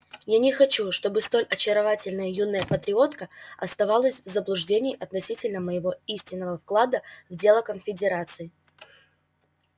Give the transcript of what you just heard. я не хочу чтобы столь очаровательная юная патриотка оставалась в заблуждении относительно моего истинного вклада в дело конфедерации